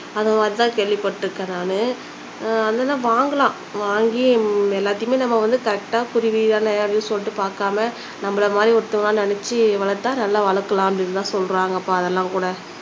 அது மாதிரி தான் கேள்விப்பட்டுருக்கேன் நான் ஆனா வாங்கலாம் வாங்கி எல்லாத்தையுமே நம்ம வந்து கரெக்ட்டா குருவிதான அப்படின்னு சொல்லிட்டு பாக்காம நம்மள மாதிரி ஒருத்தரா நினைச்சு வளத்தா நல்லா வளக்கலாம் அப்படின்னு தான் சொல்றாங்கப்பா அதெல்லாம்கூட